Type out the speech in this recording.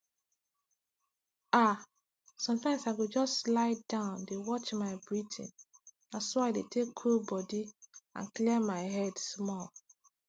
ah sometimes i go just lie down dey watch my breathing na so i dey take cool body and clear my head small